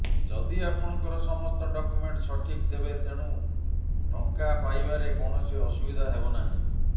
ଯଦି ଆପଣଙ୍କର ସମସ୍ତ ଡକ୍ୟୁମେଣ୍ଟ୍ ସଠିକ୍ ତେବେ ତେଣୁ ଟଙ୍କା ପାଇବାରେ କୌଣସି ଅସୁବିଧା ହେବ ନାହିଁ